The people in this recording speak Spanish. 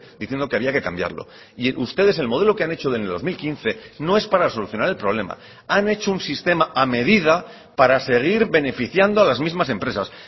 diciendo que había que cambiarlo y ustedes el modelo que han hecho en el dos mil quince no es para solucionar el problema han hecho un sistema a medida para seguir beneficiando a las mismas empresas